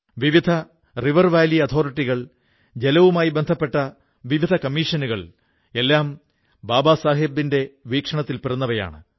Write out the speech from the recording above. വിവിധ river valley അഥോറിറ്റികൾ ജലവുമായി ബന്ധപ്പെട്ട വിവിധ കമ്മീഷനുകൾ എല്ലാം ബാബാസാഹബ് അബേദ്കറുടെ വീക്ഷണത്തിൽ പിറന്നവയാണ്